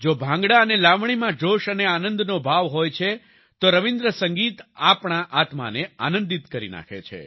જો ભાંગડા અને લાવણીમાં જોશ અને આનંદનો ભાવ હોય છે તો રવિન્દ્ર સંગીત આપણી આત્માને આનંદિત કરી નાખે છે